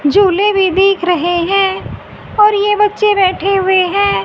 झूले भी दिख रहे हैं और ये बच्चे बैठे हुए हैं।